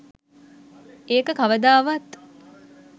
ඒක කවදාවත්